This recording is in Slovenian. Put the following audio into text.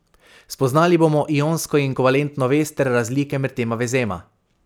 Spoznali bomo ionsko in kovalentno vez ter razlike med tema vezema.